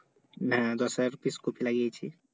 না দশ হাজার pice কপি লাগিয়েছি